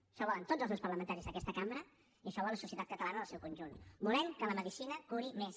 això ho volen tots els grups parlamentaris d’aquesta cambra i això ho vol la societat catalana en el seu conjunt volem que la medicina curi més